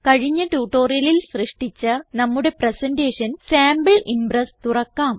കഴിഞ്ഞ ട്യൂട്ടോറിയലിൽ സൃഷ്ടിച്ച നമ്മുടെ പ്രസന്റേഷൻ സാംപിൾ ഇംപ്രസ് തുറക്കാം